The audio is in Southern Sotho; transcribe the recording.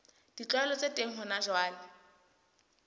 ditlwaelo tse teng hona jwale